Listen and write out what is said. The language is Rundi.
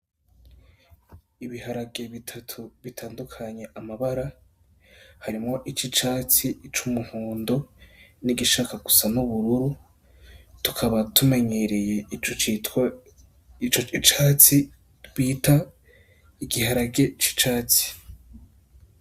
Ibiharage bitatu bitandukanye amabara, harimwo ic'icatsi, ic'umuhondo, n'igishaka gusa n'ubururu, tukaba tumenyereye ico citwa icatsi bita igiharage c'icatsi.